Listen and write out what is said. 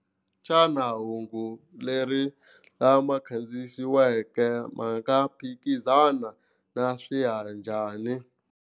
Xana hungu leri lama khandziyisiweke ma nga phikizana na njhani ?